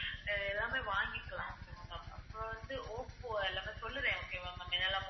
எல்லாமே வாங்கிக்கலாம் அப்புறம் வந்து, ஓப்போ எல்லாமே சொல்லுறேன் okay வா ma'am